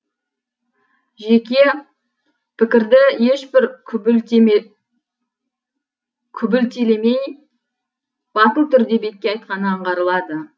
жеке пікірді ешбір күлбілтелемей батыл түрде бетке айтқаны аңғарылады